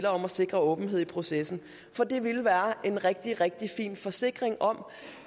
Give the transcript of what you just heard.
om at sikre åbenhed i processen for det ville være en rigtig rigtig fin forsikring om